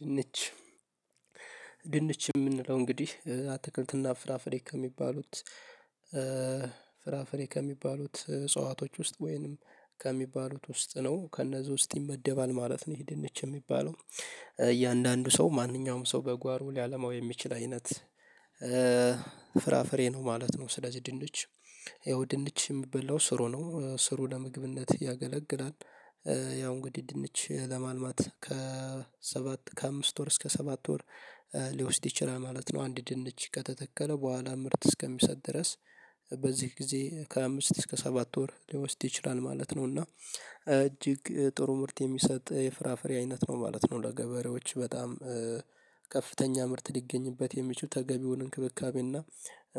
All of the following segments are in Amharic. ድንች ድንች የምንለው እንግዲህ አትክልትና ፍራፍሬ ከሚባሉት ፍራፍሬ ከሚባሉት እጽዋቶች ውስጥ ወይንም ከሚባሉት ውስጥ ነው ከእነዚህ ውስጥ ይመደባል ማለት ነው። ይሄ ድንች የሚባለው እያንዳንዱ ሰው ማንኛውም ሰው በጓሮ ሊያለማው የሚችል አይነት ፍራፍሬ ነው ማለት ነው። ስለዚህ ድንች ይኸው ድንች የሚበላው ስሩ ነው ስሩ ለምግብነት ያገለግላል። ያው እንግዲህ ድንች ለማልማት ከሰባት ከአምስት ወር እስከ ሰባት ወር ሊወስድ ይችላል ማለት ነው። አንድ ድንች ከተተከለ በኋላ ምርት እስከሚሰጥ ድረስ በዚህ ጊዜ ከአምስት እስከ ሰባት ወር ሊወስድ ይችላል ማለት ነው። እና እጅግ ጥሩ ምርት የሚሰጥ የፍራፍሬ አይነት ነው ማለት ነው። ለገበሬዎች በጣም ከፍተኛ ምርት ሊገኝበት የሚችሉ ተገቢውን እንክብካቤና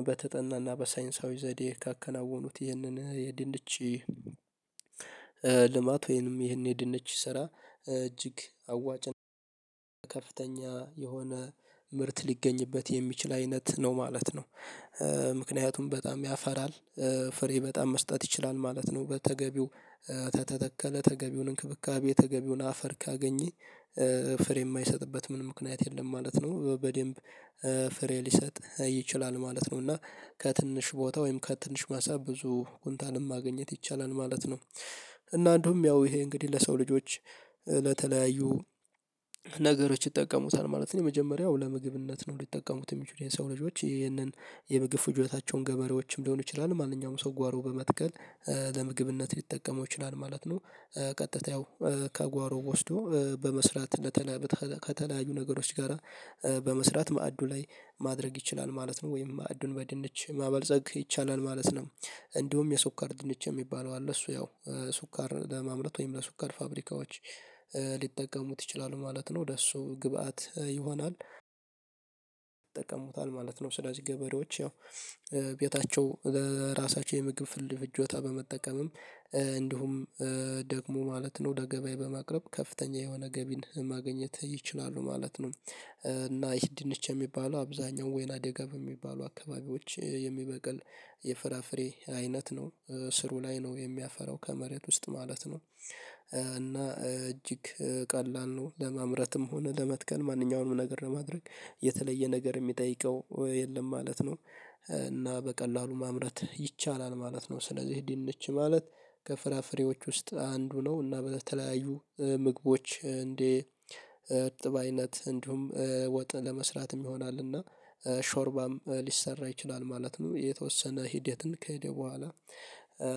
በተጠናና በሳይንሳዊ ዘዴ ካከናወኑት ይህንን የድንች ልማት ወይንም ይሄን የድንች ስራ እጅግ አዋጭና ከፍተኛ የሆነ ምርት ሊገኝበት የሚችል አይነት ነው ማለት ነው። ምክንያቱም በጣም ያፈራል ፍሬ በጣም መስጠት ይችላል ማለት ነው። በተገቢው ተተተከለ ተገቢውን እንክብካቤ የተገቢውን አፈር ካገኘ ፍሬ የማይሰጥበት ምንም ምክንያት የለም ማለት ነው። በደንብ ፍሬ ሊሰጥ ይችላል ማለት ነው። እና ከትንሽ ቦታ ወይም ከትንሽ ማሳ ብዙ ኡንታንም ማግኘት ይቻላል ማለት ነው። እና እንዲሁም ያው ይሄ እንግዲህ ለሰው ልጆች ለተለያዩ ነገሮች ይጠቀሙታል ማለት ነው። የመጀመሪያው ለምግብነት ነው ሊጠቀሙት የሚችሉ የሰው ልጆች ይህንን የምግብ ፍጆታቸውን ገበሬዎችም ሊሆን ይችላል ማንኛውም ሰው ጓሮ በመትከል ለምግብነት ሊጠቀመው ይችላል ማለት ነው። ቀጥታ ያው ከጓሮ ወስዶ በመስራት ከተለያዩ ነገሮች ጋራ በመስራት ማዕዱ ላይ ማድረግ ይችላል ማለት ነው። ወይም ማዕዱን በድንች ማበልጸግ ይቻላል ማለት ነው። እንዲሁም የስኳር ድንች የሚባለው አለ እሱ ያው ስኳር ለማምረት ወይም ለስኳር ፋብሪካዎች ሊጠቀሙት ይችላሉ ማለት ነው። ለእሱ ግብአት ይሆናል ይጠቀሙታል ማለት ነው። ስለዚህ ገበሬዎች ያው ቤታቸው ለራሳቸው የምግብ ፍጆታ በመጠቀምም እንዲሁም ደግሞ ማለት ነው ለገበያ በማቅረብ ከፍተኛ የሆነ ገቢን ማግኘት ይችላሉ ማለት ነው። እና ይህ ድንች የሚባሉ አብዛኛው ወይና ደጋፍ የሚባሉ አካባቢዎች የሚበቅል የፍራፍሬ አይነት ነው ስሩ ላይ ነው የሚያፈራው ከመሬት ውስጥ ማለት ነው። እና እጅግ ቀላል ነው ለማምረትም ሆነ ለመትከል ማንኛውንም ነገር ለማድረግ የተለየ ነገር የሚጠይቀው የለም ማለት ነው። እና በቀላሉ ማምረት ይቻላል ማለት ነው። ስለዚህ ድንች ማለት ከፍራፍሬዎች ውስጥ አንዱ ነው እና በተለያዩ ምግቦች እንደ እርጥብ አይነት እንዲሁም ወጥ ለመስራትም ይሆናል እና ሾርባም ሊሰራ ይችላል ማለት ነው። የተወሰነ ሂደትን ከሄደ በኋላ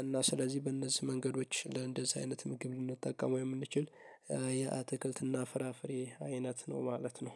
እና ስለዚህ በእነዚህ መንገዶች እንደዚህ አይነት ምግብ ልንጠቀመው የምንችል የአትክልትና ፍራፍሬ አይነት ነው ማለት ነው።